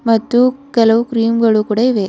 ಮತ್ತು ಕೆಲವು ಕ್ರೀಮ್ ಗಳು ಕೂಡ ಇವೆ.